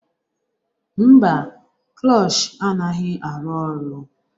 Mba, klush anaghị arụ ọrụ